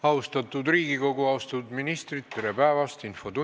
Austatud Riigikogu ja austatud ministrid, tere päevast!